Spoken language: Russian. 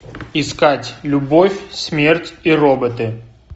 искать любовь смерть и роботы